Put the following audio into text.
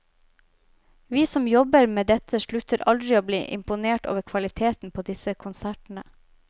Vi som jobber med dette slutter aldri å bli imponert over kvaliteten på disse konsertene.